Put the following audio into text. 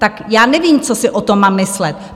Tak já nevím, co si o tom mám myslet.